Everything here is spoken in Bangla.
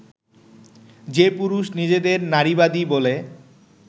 যে পুরুষ নিজেদের নারীবাদী বলে